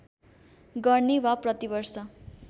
गर्ने वा प्रतिवर्ष